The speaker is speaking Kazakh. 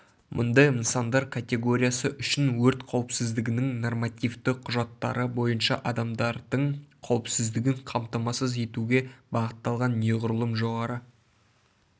мұндай нысандар категориясы үшін өрт қауіпсіздігінің нормативті құжаттары бойынша адамдардың қаупсіздігін қамтамасыз етуге бағытталған неғұрлым жоғары